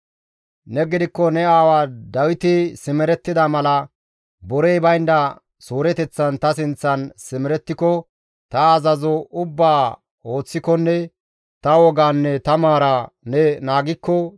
«Neni gidikko ne aawa Dawiti simerettida mala borey baynda suureteththan ta sinththan simerettiko, ta azazo ubbaa ooththikonne ta wogaanne ta maaraa ne naagikko,